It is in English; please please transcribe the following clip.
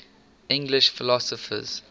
english philosophers